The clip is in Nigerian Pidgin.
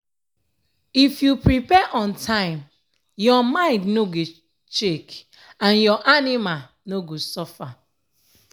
if you prepare on time your mind no go shake and your anima no go suffer.